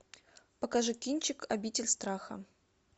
покажи кинчик обитель страха